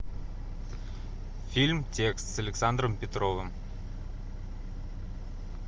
фильм текст с александром петровым